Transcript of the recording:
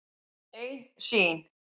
Ein sýn.